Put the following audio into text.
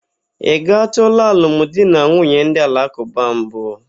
Ị gatụla alụmdinanwunye ndị alakụba mbụ?